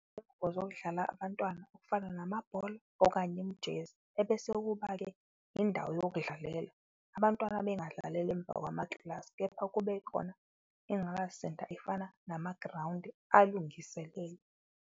Zokudlala abantwana okufana namabhola okanye imijezi, ebese kuba-ke indawo yokudlalela. Abantwana bengadlaleli emva kwamaklasi, kepha kube khona inqalasizinda efana namagrawundi alungiselele.